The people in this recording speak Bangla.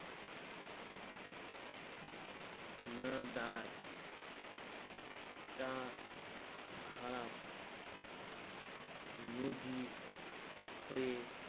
না দাঁড়ায়ে তা খারাপ নোজি হয়ে